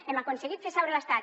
hem aconseguit fer seure l’estat